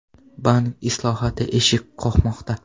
Bank islohoti eshik qoqmoqda.